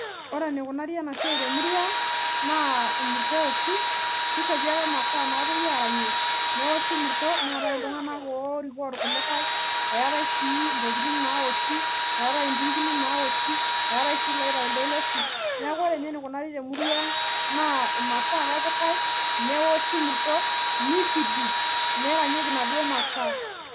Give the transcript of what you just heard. Ore enikunari enasiai temurua ang naa imurto eoshi ,kishopi ake imasaa napuoi aranyie neoshi murto , eetae si ntokitin naoshi , eetae intingili naoshi ,eetaesi iloitai iltoiloshi.